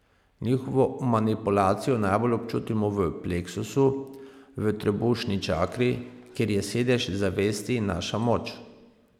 Njihovo manipulacijo najbolj občutimo v pleksusu, v trebušni čakri, kjer je sedež zavesti in naša moč.